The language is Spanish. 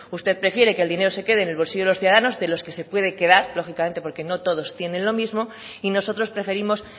usted prefiere que el dinero se quede en el bolsillo de los ciudadanos de los que se puede quedar lógicamente porque no todos tienen lo mismo y nosotros preferimos